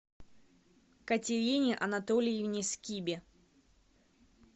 катерине анатольевне скибе